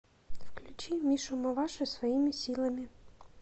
включи мишу маваши своими силами